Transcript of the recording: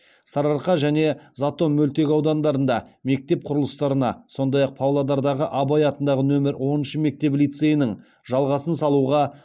сарыарқа және затон мөлтекаудандарында мектеп құрылыстарына сондай ақ павлодардағы абай атындағы нөмір оныншы мектеп лицейінің жалғасын салуға